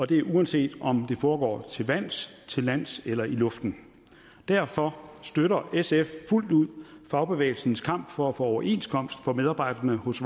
det uanset om det foregår til vands til lands eller i luften derfor støtter sf fuldt ud fagbevægelsens kamp for at få overenskomst for medarbejderne hos